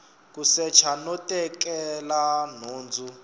ku secha no tekela nhundzu